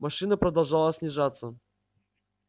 машина продолжала снижаться